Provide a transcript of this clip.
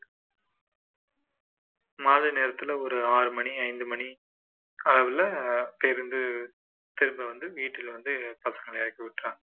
மாலை நேரத்துல ஒரு ஆறு மணி ஐந்து மணி காலையில பேருந்து திரும்ப வந்து வீட்டில வந்து பசங்களை இறக்கி விட்டர்றாங்க